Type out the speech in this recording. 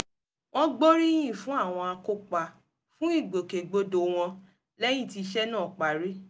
wọ́n gbóríyìn fún àwọn akópa fún ìgbòkègbodò wọn lẹ́yìn tí iṣẹ́ náà parí